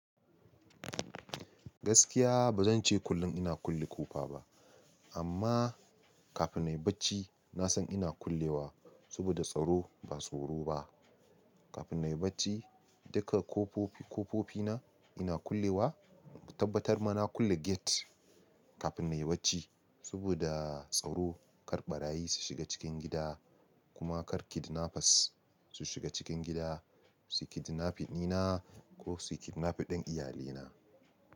Gaskiya ba zan ce kullum ina kulle ƙofa ba amma kafin na yi bacci na san ina kullewa saboda tsaro ba tsoro ba. Kafin na yi bacci duka ƙofofi ƙofofi na ina kullewa, in tabbatar ma na kulle gate kafin na yi bacci saboda tsaro kar ɓarayi su shiga cikin gida kuma kar kidnappers su shiga cikin gida su kidnaping dina ko su kidnaping ɗin iyalina.